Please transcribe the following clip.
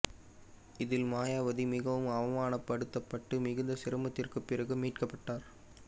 இதில் மாயாவதி மிகவும் அவ மானப்படுத்தப்பட்டு மிகுந்த சிரமத் துக்குப் பிறகு மீட்கப்பட்டார்